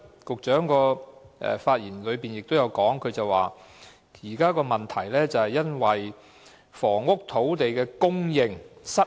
局長在發言時又提到，現時的問題在於房屋土地供應失衡。